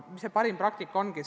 Mis see parim praktika on?